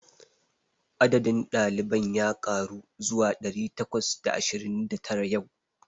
Adadin ɗaliban ya ƙaru zuwa ɗari takwas da ashirin da tara yau.